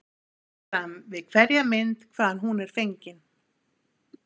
Tekið er fram við hverja mynd hvaðan hún er fengin.